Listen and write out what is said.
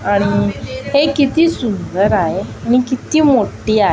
आणि हे किती सुंदर आहे नि किती मोठी आहे.